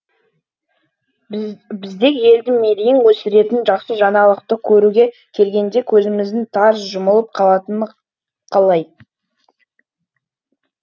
бізде елдің мерейін өсіретін жақсы жаңалықты көруге келгенде көзіміздің тарс жұмылып қалатыны қалай